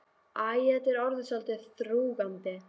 Æ, þetta er orðið svolítið þrúgandi.